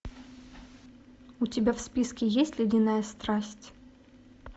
у тебя в списке есть ледяная страсть